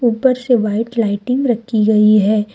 ऊपर से white lighting रखी गई है।